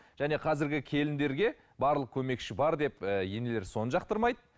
және қазіргі келіндерге барлық көмекші бар деп ііі енелер соны жақтырмайды